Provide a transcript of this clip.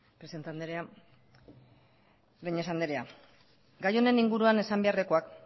presidente andrea breñas andrea gai honen inguruan esan beharrekoak